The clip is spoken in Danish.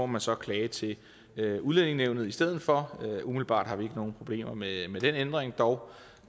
må så klage til udlændingenævnet i stedet for umiddelbart har vi ikke nogen problemer med med den ændring dog